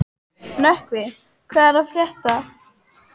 Nökkvi, hvað er að frétta?